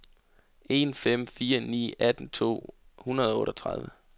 en fem fire ni atten to hundrede og otteogtredive